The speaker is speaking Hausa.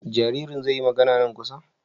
Jaririn zai yi magana nan kusa?